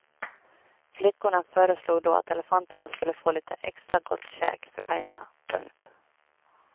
Flickorna föreslog då att elefanterna skulle få lite extra gott käk för pengarna. punkt